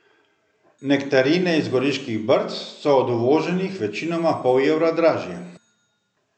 Nektarine iz Goriških brd so od uvoženih večinoma pol evra dražje.